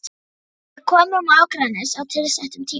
Við komum á Akranes á tilsettum tíma.